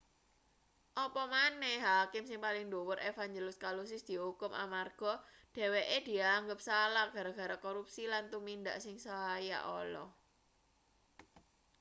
apa maneh hakim sing paling dhuwur evangelous kalousis diukum amarga dheweke dianggep salah gara-gara korupsi lan tumindak sing saya ala